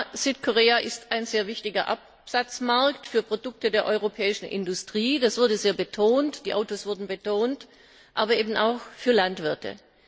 Ja, Südkorea ist ein sehr wichtiger Absatzmarkt für Produkte der europäischen Industrie das wurde sehr betont, die Autos wurden betont aber eben auch für Landwirte.